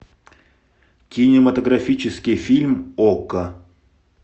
кинематографический фильм окко